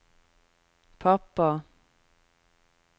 pappa